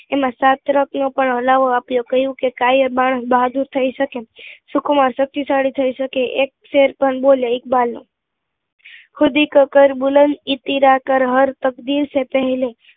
એમાં શાસ્ત્રક નો પણ હલાવો આપ્યો કહ્યું કે કાયર માણસ બહાદુર થઇ શકે, સુખ માં શક્તિશાલી થઇ શકે, એક શેર પણ બોલ્યો ઇકબાલનો ખુદી કો કર બુલંદ ઈતિરા કર હર તકદીર સે પેહલે